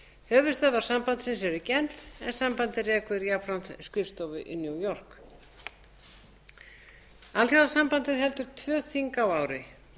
þeirra höfuðstöðvar sambandsins eru í genf en sambandið rekur jafnframt skrifstofu í new york alþjóðaþingmannasambandið heldur tvö þing á ári